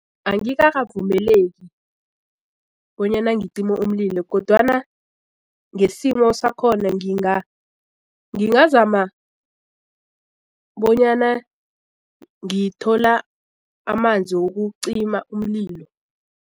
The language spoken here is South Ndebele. Angikakavumeleki bonyana ngicime umlilo kodwana ngesimo sakhona ngingazama bonyana ngithola amanzi wokucima umlilo.